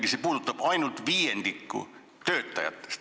Pealegi puudutab see ainult viiendikku töötajatest.